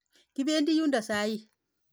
Kipendi yundok sait ata?